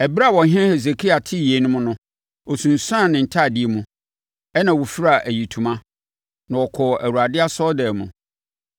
Ɛberɛ a ɔhene Hesekia tee yeinom no, ɔsunsuanee ne ntadeɛ mu, ɛnna ɔfiraa ayitoma, na ɔkɔɔ Awurade asɔredan mu.